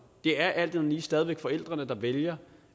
er alt andet lige stadig væk forældrene der vælger